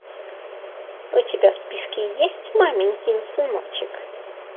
у тебя в списке есть маменькин сыночек